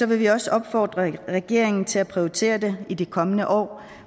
vil vi også opfordre regeringen til at prioritere det i de kommende år